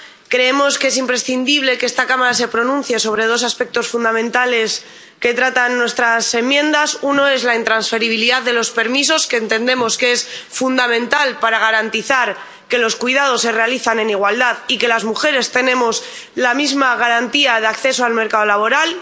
Creemos que es imprescindible que esta Cámara se pronuncia sobre dos aspectos fundamentales que tratan nuestras enmiendas. Uno es la intransferibilidad de los permisos, que entendemos es fundamental para garantizar que los cuidados se realizan en igualdad y que las mujeres tenemos la misma garantía de acceso al mercado laboral.